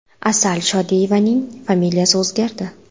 Asal Shodiyevaning familiyasi o‘zgardi .